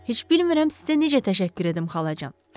Heç bilmirəm sizə necə təşəkkür edim, xalacan.